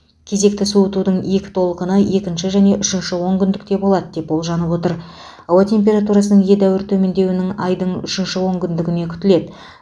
кезекті суытудың екі толқыны екінші және үшінші онкүндікте болады деп болжанып отыр ауа температурасының едәуір төмендеуін айдың үшінші онкүндігінде күтіледі